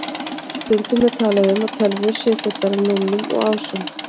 Stundum er talað um að tölvur séu fullar af núllum og ásum.